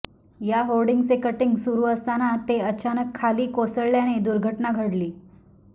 या होर्डिंगचे कटींग सुरु असताना ते अचानक खाली कोसळल्याने दुर्घटना घडली